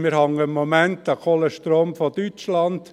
Wir hängen im Moment am Kohlestrom aus Deutschland.